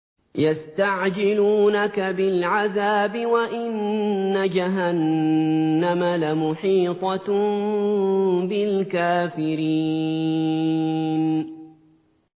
يَسْتَعْجِلُونَكَ بِالْعَذَابِ وَإِنَّ جَهَنَّمَ لَمُحِيطَةٌ بِالْكَافِرِينَ